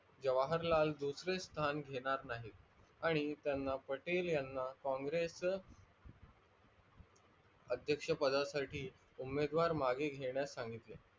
जवाहरलाल दुसरे स्थान घेणार नाही, आणि त्यांना पटेल यांना कॉँग्रेस अधेकक्ष पदासाटी उमेदवार मागे घेण्यात संगितले.